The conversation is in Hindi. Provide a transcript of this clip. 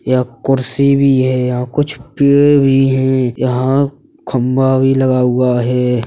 यहाँ कुर्सी भी है। यहाँ कुछ पेड़ भी हैं। यहाँ खंबा भी लगा हुआ है।